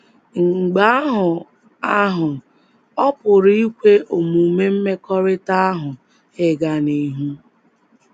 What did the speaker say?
Mgbe ahụ ahụ, ọ pụrụ ikwe omume mmekọrịta ahụ ịga n’ihu.